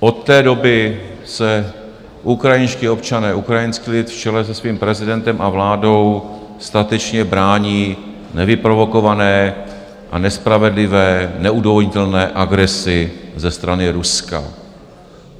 Od té doby se ukrajinští občané, ukrajinský lid v čele se svým prezidentem a vládou statečně brání nevyprovokované a nespravedlivé neodůvodnitelné agresi ze strany Ruska.